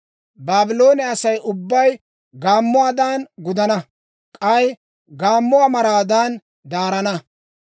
Baabloone Asay ubbay gaammuwaadan gudana; k'ay gaammuwaa maraadan daarana.